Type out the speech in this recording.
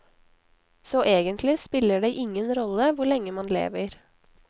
Så egentlig spiller det ingen rolle hvor lenge man lever.